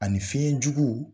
Ani fɛnjuguw